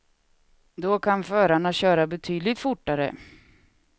Då kan förarna köra betydligt fortare.